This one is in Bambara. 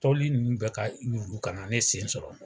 Tɔli nunnu bɛɛ ka yuru ka na ne sen sɔrɔ.